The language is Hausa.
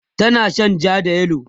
tana Shan jaa da yellow